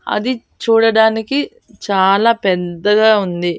అది చూడడానికి చాలా పెద్దగా ఉంది.